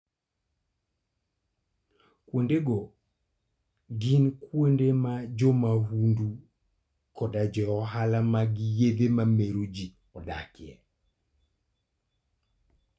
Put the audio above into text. Kuondego gin kuonde ma jo mahundu koda jo ohala mag yedhe mameroji odakie.